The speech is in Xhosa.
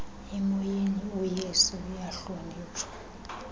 emoyeni uyesu uyahlonitshwa